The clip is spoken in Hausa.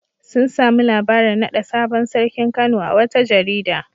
Sun sami labarin naɗa sabon sarkin Kano a wata jarida.